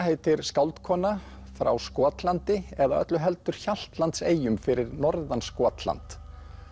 heitir skáldkona frá Skotlandi eða öllu heldur Hjaltlandseyjum fyrir norðan Skotland